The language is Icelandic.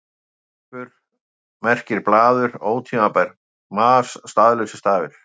Fleipur merkir blaður, ótímabært mas, staðlausir stafir.